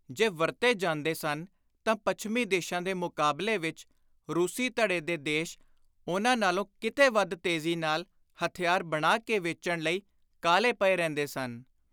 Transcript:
ਜੇ ਵਰਤੇ ਜਾਂਦੇ ਸਨ ਤਾਂ ਪੱਛਮੀ ਦੇਸ਼ਾਂ ਦੇ ਮੁਕਾਬਲੇ ਵਿਚ ਰੂਸੀ ਧੜੇ ਦੇ ਦੇਸ਼ ਉਨ੍ਹਾਂ ਨਾਲੋਂ ਕਿਤੇ ਵੱਧ ਤੇਜ਼ੀ ਨਾਲ ਹਥਿਆਰ ਬਣਾ ਕੇ ਵੇਚਣ ਲਈ ਕਾਹਲੇ ਪਏ ਰਹਿੰਦੇ ਸਨ।